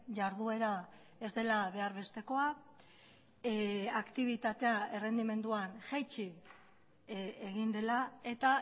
jarduera ez dela behar bestekoa aktibitatea errendimendua jaitsi egin dela eta